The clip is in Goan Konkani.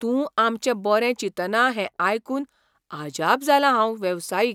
तूं आमचें बरें चिंतना हें आयकून अजाप जालां हांव वेवसायीक